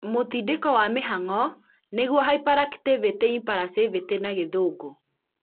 mũtindĩko wa mĩhangó nĩguo Hyperactivity-Impulsivity na gĩthũngũ